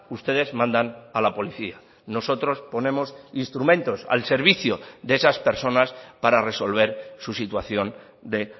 ustedes mandan a la policía nosotros ponemos instrumentos al servicio de esas personas para resolver su situación de